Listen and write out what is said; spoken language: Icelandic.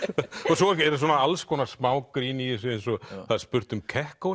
svo er svona alls konar smá grín í þessu eins og það er spurt um